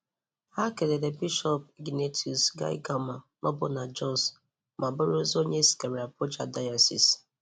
Ha kelere Bishop Ignatius Kaigama nọbu na Jos ma bụrụzịa onye e zigara Abuja zigara Abuja dayọsis.